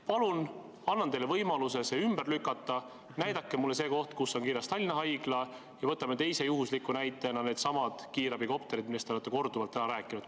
Palun, annan teile võimaluse see ümber lükata, näidake mulle see koht, kus on kirjas Tallinna Haigla, ja võtame teise juhusliku näitena needsamad kiirabikopterid, millest te olete korduvalt rääkinud.